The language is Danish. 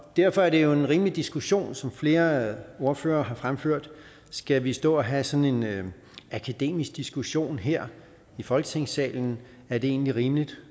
derfor er det jo en rimelig diskussion som flere ordførere har fremført skal vi stå og have sådan en akademisk diskussion her i folketingssalen er det egentlig rimeligt